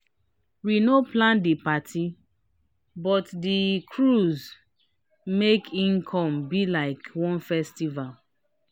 we no plan di parti but di cruise make e come be like one festival.